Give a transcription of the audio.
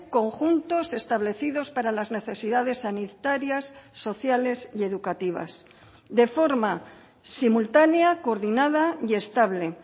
conjuntos establecidos para las necesidades sanitarias sociales y educativas de forma simultánea coordinada y estable